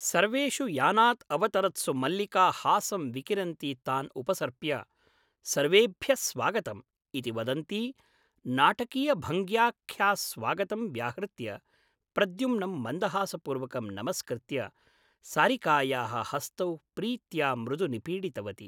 सर्वेषु यानात् अवतरत्सु मल्लिका हासं विकिरन्ती तान् उपसर्प्य ' सर्वेभ्यः स्वागतम् ' इति वदन्ती नाटकीयभङ्ग्या स्वागतं व्याहृत्य प्रद्युम्नं मन्दहासपूर्वकं नमस्कृत्य सारिकायाः हस्तौ प्रीत्या मृदु निपीडितवती ।